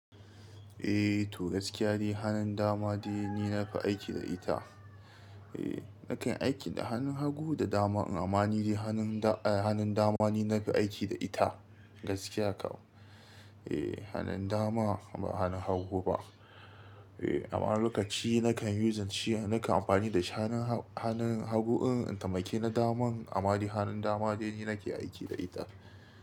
Eh to gaskiya dai hanun dama dai ni na fi aiki da ita. Eh nakan aiki da hanun hagu da dama amani dai hanun da hanun dama ni na fi aiki da ita gaskiya kawai. Eh hanun dama ba hanun hagu ba. Eh amma lokaci na kan using shi nakan amfani da shi hanun ha hanun hagu in in taimake na daman amadi hanun dama dai ni nake aiki da ita.